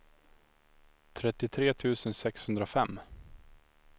trettiotre tusen sexhundrafem